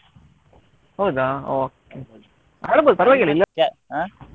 ಹೌದಾ okay ಆಡ್ಬೋದು ಪರ್ವಾಗಿಲ್ಲ ಆ.